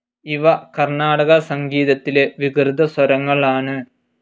ഇവ കർണാടക സംഗീതത്തിലെ വികൃതസ്വരങ്ങൾ ആണ്.